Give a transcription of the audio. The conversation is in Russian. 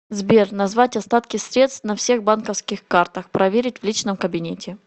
сбер назвать остатки средств на всех банковских картах проверить в личном кабинете